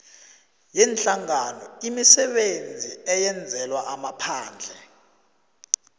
yeenhlanganoimisebenzi eyenzelwa amaphandle